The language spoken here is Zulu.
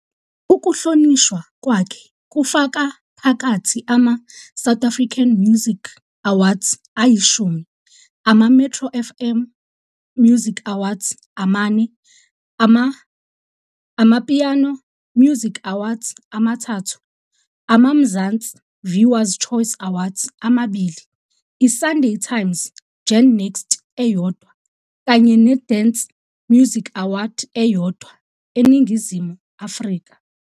Ukuhlonishwa kwakhe kufaka phakathi ama-South African Music Awards ayishumi, ama-Metro FM Music Awards amane, ama-AmaPiano Music Awards amathathu, ama- Mzansi Viewers Choice Awards amabili, i-Sunday Times GenNext eyodwa, kanye ne-Dance Music Awards eyodwa eNingizimu Afrika.